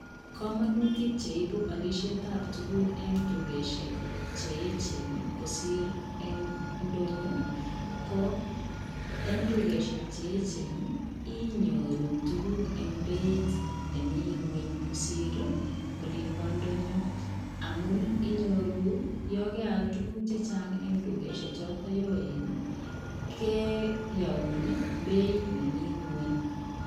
Kamanutiik cheibuu alisiet ab tuguuk en dukosiek che eecheen kosiir en ndonyoo ko en dukosiek che eecheen ii inyoruu tuguuk en beit nemii kweeny kosiir ii olimpoo ndonyoo amuun ii inyoruu yaan keyaal tuguuk chechaang en dukosiek chotoon yoen ii ke Yaun ii beit nemii kweeny.